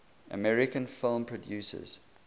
american film producers